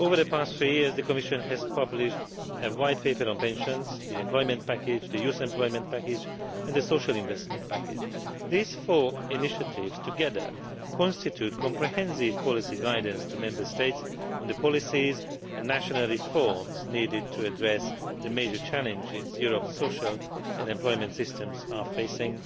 Over the past three years the Commission has published white papers on pensions, the Employment Package, the Youth Employment Package, and the Social Investment Package. These four initiatives together constitute comprehensive policy guidance to Member States on the policies and national reforms needed to address the major challenges Europe's social and employment systems are facing,